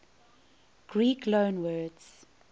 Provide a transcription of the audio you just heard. greek loanwords